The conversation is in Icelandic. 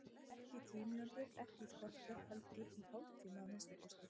Ekki í tíu mínútur, ekki í kortér, heldur í hálftíma að minnsta kosti.